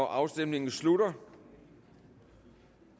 afstemningen slutter